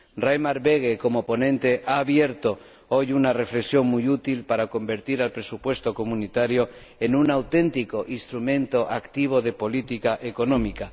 El señor Böge, como ponente, ha abierto hoy una reflexión muy útil para convertir el presupuesto comunitario en un auténtico instrumento activo de política económica.